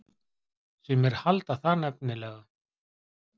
Sumir halda það nefnilega.